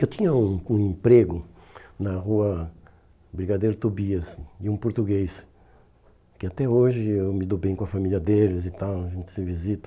Eu tinha um um emprego na rua Brigadeiro Tobias, de um português, que até hoje eu me dou bem com a família deles e tal, a gente se visita.